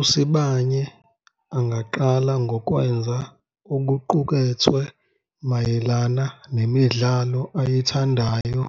USibanye angaqala ngokwenza okuqukethwe mayelana nemidlalo ayithandayo